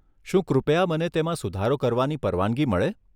શું કૃપયા મને તેમાં સુધારો કરવાની પરવાનગી મળે?